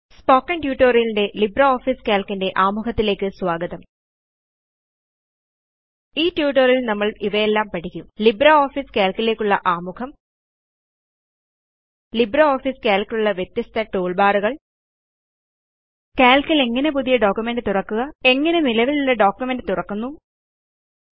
spoken ട്യൂട്ടോറിയലിൽ LibreOffice Calc ന്റെ ആമുഖത്തിലേയ്ക്ക് സ്വാഗതം ഈ ട്യൂട്ടോറിയലിൽ നമ്മൾ ഇവയെല്ലാം പഠിക്കും ലിബ്രിയോഫീസ് കാൽക്ക് ലേയ്ക്കുള്ള ആമുഖം ലിബ്രിയോഫീസ് കാൽക്ക് ലുള്ള വ്യത്യസ്ത ടൂൾബാറുകൾ കാൽക്ക് ൽ എങ്ങനെയാണ് പുതിയ പ്രമാണം ഒരു ഡോക്യുമെന്റ് തുറക്കേണ്ടത് നിലവിലുള്ള ഒരു ഡോക്യുമെന്റ് എങ്ങനെയാണ് തുറക്കേണ്ടത്